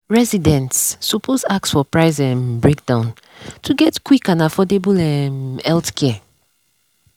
residents suppose ask for price um breakdown to get quick and affordable um healthcare.